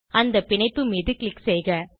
அந்த பிணைப்பு மீது க்ளிக் செய்க